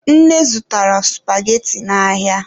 Nne zụtara supageti n'ahịa.